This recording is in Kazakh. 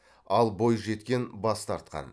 ал бойжеткен бас тартқан